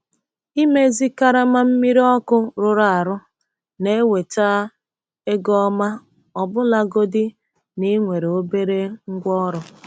Ịmezi karama mmiri ọkụ rụrụ arụ na-eweta ego ọma ọbụlagodi na ị nwere obere ngwaọrụ.